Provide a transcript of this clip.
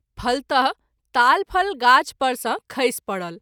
फलत: ताल फल गाछ पर सँ खैस परल।